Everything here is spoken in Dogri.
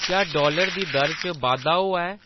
क्या डालर दी दर च बाद्धा होआ ऐ